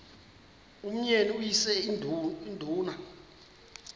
umyeni uyise iduna